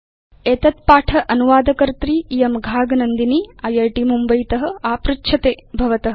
एतत् पाठ अनुवादकर्त्री इयं घाग नन्दिनी इत् मुम्बयीत आपृच्छते भवत